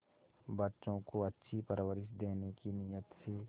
बच्चों को अच्छी परवरिश देने की नीयत से